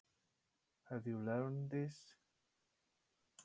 Ert þú búinn að læra þetta?